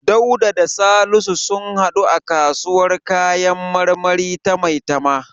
Dauda da Salisu sun haɗu a kasuwar kayan marmari ta Maitama.